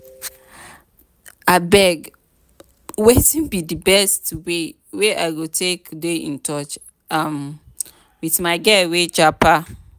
abeg wetin be di best way wey i go take dey in touch um with my girl wey japa?